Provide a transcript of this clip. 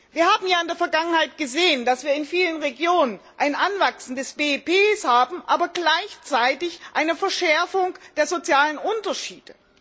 Wir haben ja in der Vergangenheit gesehen, dass wir in vielen Regionen ein Anwachsen des BIP haben, aber gleichzeitig eine Verschärfung der sozialen Unterschiede.